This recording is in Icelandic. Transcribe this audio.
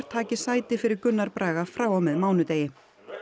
taki sæti fyrir Gunnar Braga frá og með mánudegi